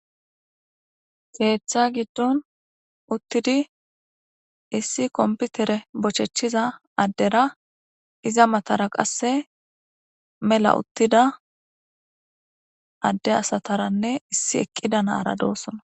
keeththa gidon utidi issi konpitere bochechida addera iza matara qase mela utida adde asatarane issi eqida nara deosona.